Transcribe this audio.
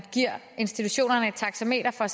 at give institutionerne et taxameter for